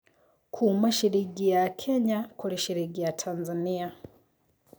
Kuma ciringi ya Kenya kũri ciringi ya Tanzania